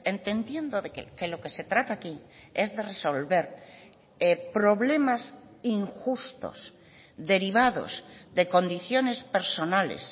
entendiendo que lo que se trata aquí es de resolver problemas injustos derivados de condiciones personales